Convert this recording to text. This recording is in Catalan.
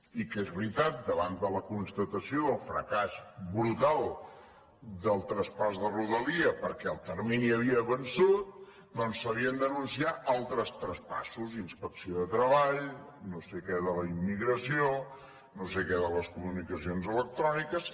i que és veritat davant de la constatació del fracàs brutal del traspàs de rodalies perquè el termini havia vençut doncs s’havien d’anunciar altres traspassos inspecció de treball no sé què de la immigració no sé què de les comunicacions electròniques